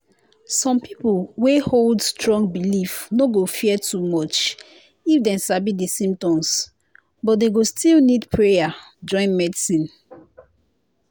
some people wey hold strong belief no go fear too much if dem sabi the symptoms. but dem go still need prayer join medicine.